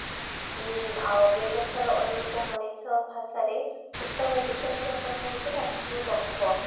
ଉଁ ଆଉ ବ୍ୟବସ୍ତା ର ଅନୁରୂପ ମଣିଷ ଭାଷାରେ ଉତ୍ତମ ଜୀବନ ଜାପନ ହେଉଚି ରାଷ୍ଟ୍ର ର ଲକ୍ଷ